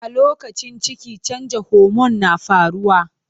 A lokacin ciki, canjon homon na faruwa.